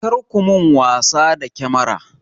Kar ku min wasa da kyamara!